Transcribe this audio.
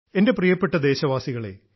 എൻറെ പ്രിയപ്പെട്ട ദേശവാസികളെ